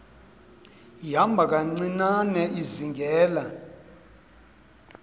ihamba kancinane izingela